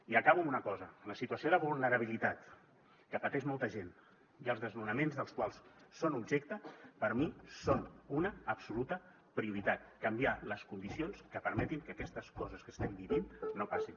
i acabo amb una cosa la situació de vulnerabilitat que pateix molta gent i els desnonaments dels quals són objecte per mi són una absoluta prioritat canviar les condicions que permetin que aquestes coses que estem vivint no passin